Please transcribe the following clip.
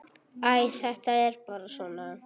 Æ, þetta er bara svona.